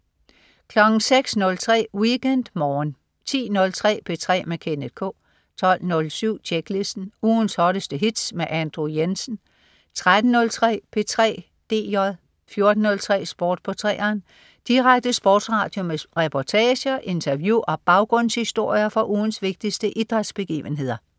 06.03 WeekendMorgen 10.03 P3 med Kenneth K 12.07 Tjeklisten. Ugens hotteste hits med Andrew Jensen 13.03 P3 DJ 14.03 Sport på 3'eren. Direkte sportsradio med reportager, interview og baggrundshistorier fra ugens vigtigste idrætsbegivenheder